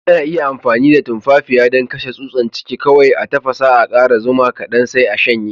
Ana iya amfani da tumfafiya dan kashen tsusan ciki. Kowai a tafassa,a kara zuma kadan, sai a shanye.